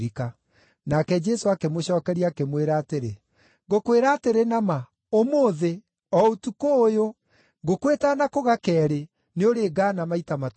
Nake Jesũ akĩmũcookeria, akĩmwĩra atĩrĩ, “Ngũkwĩra atĩrĩ na ma, ũmũthĩ, o ũtukũ ũyũ, ngũkũ ĩtanakũga keerĩ, nĩũrĩngaana maita matatũ.”